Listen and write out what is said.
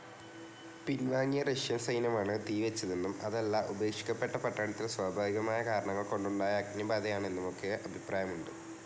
പിൻവാങ്ങിയ Russian സൈന്യമാണ് തീ വെച്ചതെന്നും അതല്ല ഉപേക്ഷിക്കപ്പെട്ട പട്ടണത്തിൽ സ്വാഭാവിക കാരണങ്ങൾ കൊണ്ടുണ്ടായ അഗ്നിബാധയാണ് എന്നുമൊക്കെ അഭിപ്രായമുണ്ട്,.